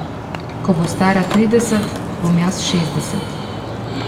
Ko bo stara trideset, bom jaz šestdeset.